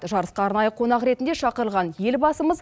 жарысқа арнайы қонақ ретінде шақырылған елбасымыз